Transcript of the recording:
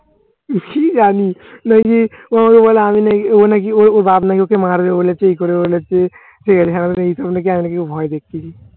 কি জানি। নাকিও আমাকে বলে আমি নাকি ও নাকি ওর বাপ নাকি ওকে মারবে বলে ঠিক করে ফেলেছে। কেমনে কি ভয় দেখিয়েছি।